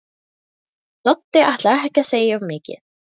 Doddi ætlar ekki að segja of mikið.